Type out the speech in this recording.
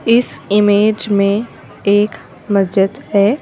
इस इमेज मे एक मस्जिद है।